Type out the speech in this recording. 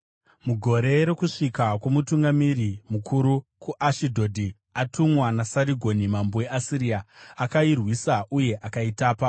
Mugore rokusvika kwomutungamiri mukuru, kuAshidhodhi, atumwa naSarigoni mambo weAsiria, akairwisa uye akaitapa,